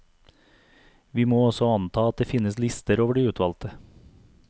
Vi må også anta at det finnes lister over de utvalgte.